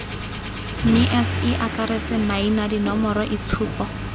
mme ce akaretse maina dinomoroitshupo